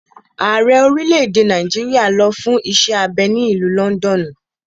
Ààrẹ orílẹ̀-èdè Nàìjíríà lọ fún iṣẹ́ abẹ ní ìlú lọ́ndọ̀nù.